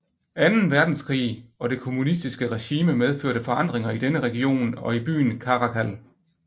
Anden Verdenskrig og det kommunistiske regime medførte forandringer i denne region og i byen Caracal